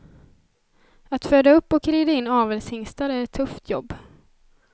Att föda upp och rida in avelshingstar är ett tufft jobb.